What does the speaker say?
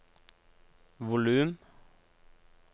volum